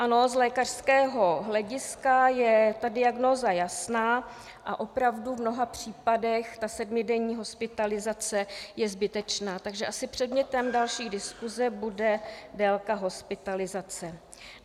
Ano, z lékařského hlediska je ta diagnóza jasná a opravdu v mnoha případech ta sedmidenní hospitalizace je zbytečná, takže asi předmětem další diskuse bude délka hospitalizace.